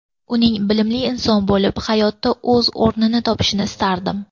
Uning bilimli inson bo‘lib, hayotda o‘z o‘rnini topishini istardim.